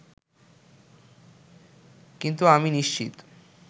কিন্তু আমি নিশ্চিত